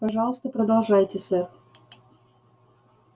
пожалуйста продолжайте сэр